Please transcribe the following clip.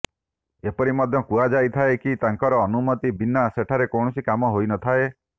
ଏପରି ମଧ୍ୟ କୁହାଯାଇଥାଏ କି ତାଙ୍କର ଅନୁମତି ବିନା ସେଠାରେ କୌଣସି କାମ ହୋଇନଥାଏ